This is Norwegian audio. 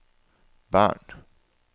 Bern